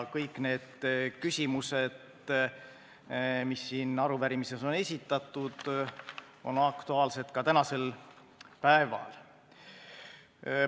Kõik need küsimused, mis on siin arupärimises esitatud, on aktuaalsed ka tänasel päeval.